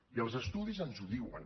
i els estudis ens ho diuen